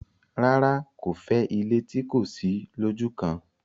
rárá, kò fẹ́ ilé tí kò sí lójúkan.